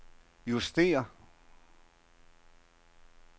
justér